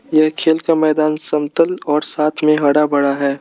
ये खेल का मैदान समतल और साथ में हरा बड़ा है।